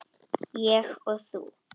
Ég og þú.